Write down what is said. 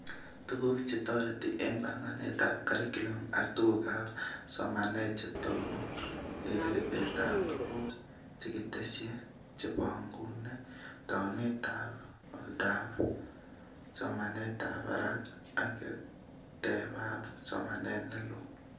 Tuguk chetoreti eng banganetab curriculum ak tukab somanet chetoku, ripetab tuguk chekitesyi chebonguni, taunetab oldoab somanetab barak ak kerteab somanet neloo